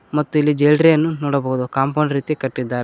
ಮತ್ತು ಇಲ್ಲಿ ಜೇಲ್ರಿಯನ್ನು ನೋಡಬಹುದು ಕಾಂಪೌಂಡ್ ರೀತಿ ಕಟ್ಟಿದ್ದಾರೆ.